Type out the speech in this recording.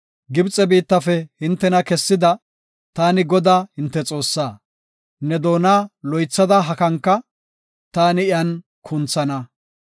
Gibxe biittafe hintena kessida, taani Godaa hinte Xoossaa; Ne doona loythada hakanka; taani iyan kunthana.